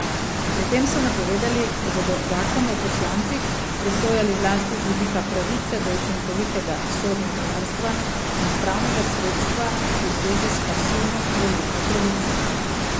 Pri tem so napovedali, da bodo zakon o poslancih presojali zlasti z vidika pravice do učinkovitega sodnega varstva in pravnega sredstva v zvezi s pasivno volilno pravico.